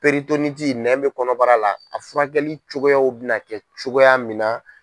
nɛn bɛ kɔnɔbara la a furakɛli cogoya bɛna kɛ cogoya min na.